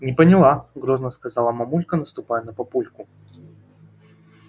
не поняла грозно сказала мамулька наступая на папульку